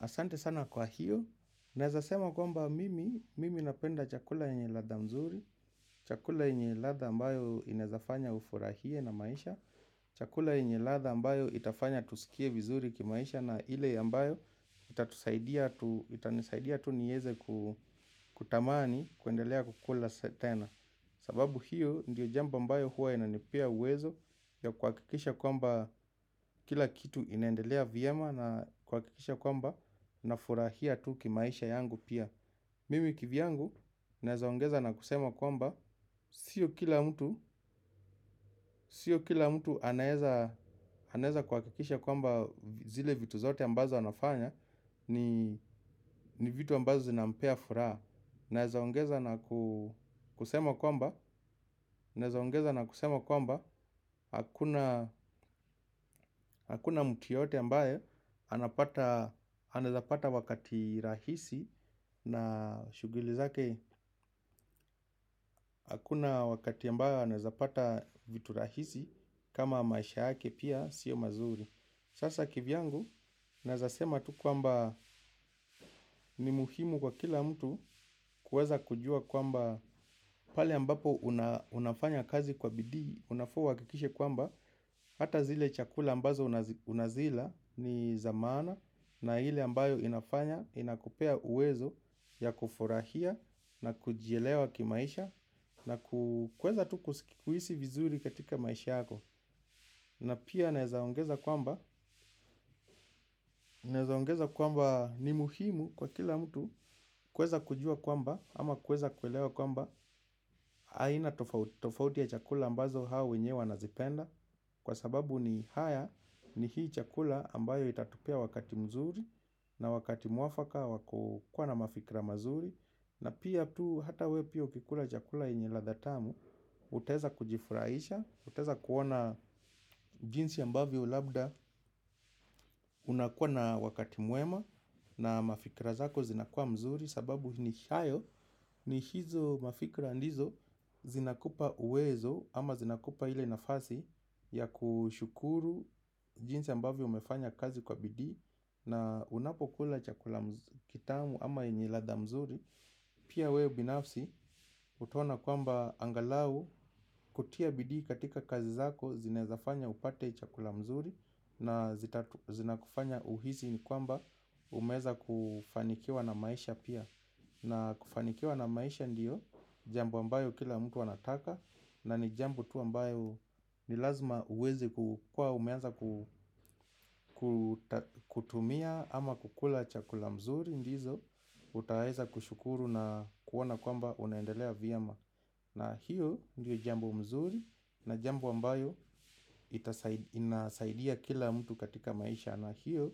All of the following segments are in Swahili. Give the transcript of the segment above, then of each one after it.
Asante sana kwa hiyo, naezasema kwamba mimi, mimi napenda chakula yenye ladha mzuri, chakula yenye ladha ambayo inaezafanya ufurahie na maisha, chakula yenye ladha ambayo itafanya tusikie vizuri kimaisha na ile ambayo itanisaidia tu nieze kutamani kuendelea kukula tena. Sababu hiyo ndiyo jambo ambayo huwa inanipea uwezo ya kuhakikisha kwamba kila kitu inendelea vyema na kuhakikisha kwamba nafurahia tu kimaisha yangu pia. Mimi kivyangu nazaongeza na kusema kwamba sio kila mtu anaeza kuhakikisha kwamba zile vitu zote ambazo anafanya ni vitu ambazo zinampea furaha, naezaongeza na kusema kwamba hakuna mtu yeyote ambaye anaezapata wakati rahisi na shughuli zake. Hakuna wakati ambaye anaezapata vitu rahisi kama maisha yake pia sio mazuri. Sasa kivyangu, naezasema tu kwamba ni muhimu kwa kila mtu kuweza kujua kwamba pale ambapo unafanya kazi kwa bidii, unafaa uhakikishe kwamba, hata zile chakula ambazo unazila ni za maana na ile ambayo inafanya, inakupea uwezo ya kufurahia na kujielewa kimaisha na kuweza tu kuhisi vizuri katika maisha yako. Na pia nezaongeza kwamba ni muhimu kwa kila mtu kuweza kujua kwamba ama kuweza kuelewa kwamba aina tofauti tofauti ya chakula ambazo hao wenyewe wanazipenda kwa sababu ni haya ni hii chakula ambayo itatupea wakati mzuri na wakati mwafaka wa kukua na mafikra mazuri. Na pia tu hata we pia ukikula chakula yenye ladha tamu, utaeza kujifurahisha utaeza kuona jinsi ambavyo labda unakuwa na wakati mwema. Na mafikra zako zinakua mzuri. Sababu ni hayo ni hizo mafikra ndizo zinakupa uwezo ama zinakupa ile nafasi ya kushukuru jinsi ambavyo umefanya kazi kwa bidii. Na unapokula chakula kitamu ama yenye ladha mzuri, pia weo binafsi utaona kwamba angalau kutia bidii katika kazi zako zinaezafanya upate chakula mzuri na zinakufanya uhisi ni kwamba umeweza kufanikiwa na maisha pia na kufanikiwa na maisha ndiyo jambo ambayo kila mtu anataka na ni jambo tu ambayo ni lazima uweze kukua umeanza kutumia ama kukula chakula mzuri ndizo utaeza kushukuru na kuona kwamba unaendelea vyema. Na hiyo ndio jambo mzuri na jambo ambayo inasaidia kila mtu katika maisha. Na hiyo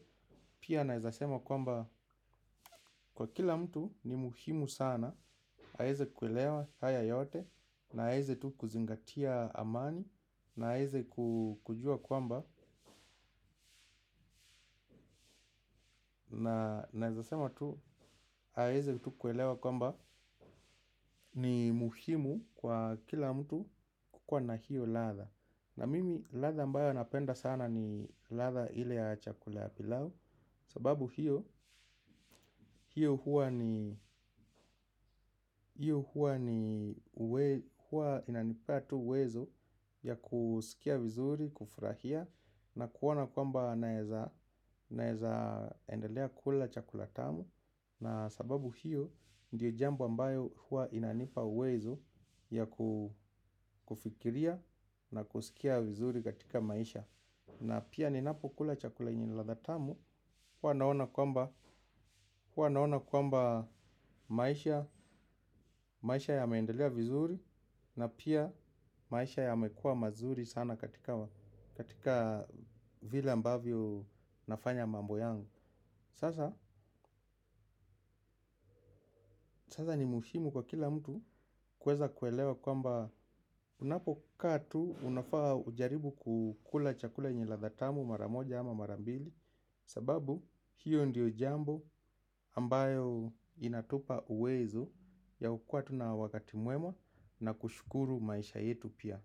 pia naezasema kwamba kwa kila mtu ni muhimu sana aeze kuelewa haya yote na aeze tu kuzingatia amani. Na aeze kujua kwamba na naezasema tu aweze kuelewa kwamba ni muhimu kwa kila mtu kukua na hiyo ladha. Na mimi ladha ambayo napenda sana ni ladha ile ya chakula pilau. Sababu hiyo huwa ni huwa inanipea tu wezo ya kusikia vizuri, kufurahia. Na kuona kwamba naeza endelea kula chakula tamu. Na sababu hiyo ndiyo jambu ambayo hua inanipa uwezo ya kufikiria na kusikia vizuri katika maisha. Na pia ninapo kula chakula yenye ladha tamu hua naona kwamba maisha yameendelea vizuri. Na pia maisha yamekua mazuri sana katika vile ambavyo nafanya mambo yangu. Sasa ni muhimu kwa kila mtu kuweza kuelewa kwamba unapokaa tu unafaa ujaribu kukula chakula yenye ladha tamu mara moja ama mara mbili. Sababu hiyo ndiyo jambo ambayo inatupa uwezo ya kukua tuna wakati mwemwa na kushukuru maisha yetu pia.